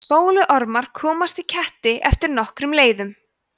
spóluormar komast í ketti eftir nokkrum leiðum